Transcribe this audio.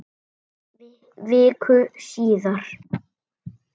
Viku síðar.